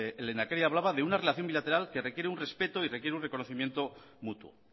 el lehendakari hablaba de una relación bilateral que requiere un respeto y requiere un reconocimiento mutuo